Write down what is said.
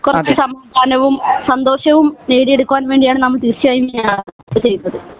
കൊറച്ച് സമാധാനവും സന്തോഷവും നേടി എടുക്കുവാൻ വേണ്ടി ആണ് നമ്മൾ തീർച്ചയായും യാത്ര ചെയ്യുന്നത്